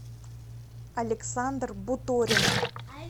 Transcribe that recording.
александр буторин